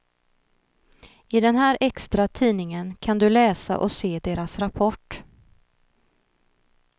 I den här extra tidningen kan du läsa och se deras rapport.